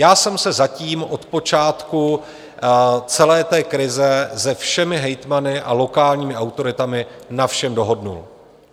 Já jsem se zatím od počátku celé té krize se všemi hejtmany a lokálními autoritami na všem dohodl.